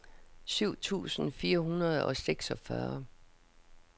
syv tusind fire hundrede og seksogfyrre